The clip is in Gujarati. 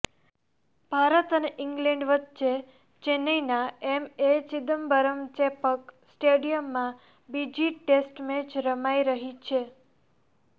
ભારત અને ઈંગ્લેન્ડ વચ્ચે ચેન્નઈના એમએ ચિદમ્બરમ ચેપક સ્ટેડિયમમાં બીજી ટેસ્ટ મેચ રમાઈ રહી છે